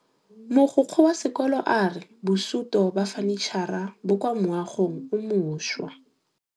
Mogokgo wa sekolo a re bosutô ba fanitšhara bo kwa moagong o mošwa.